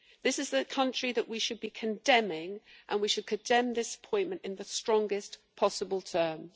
This is a country that we should be condemning, and we should condemn this appointment in the strongest possible terms.